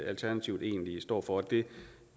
alternativet egentlig står for det